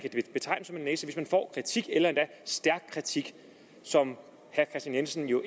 næse hvis man får kritik eller endda stærk kritik som herre kristian jensen jo